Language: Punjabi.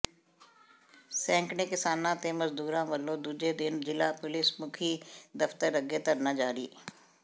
ਸੈਂਕੜੇ ਕਿਸਾਨਾਂ ਤੇ ਮਜ਼ਦੂਰਾਂ ਵੱਲੋਂ ਦੂਜੇ ਦਿਨ ਜ਼ਿਲ੍ਹਾ ਪੁਲਿਸ ਮੁਖੀ ਦਫ਼ਤਰ ਅੱਗੇ ਧਰਨਾ ਜਾਰੀ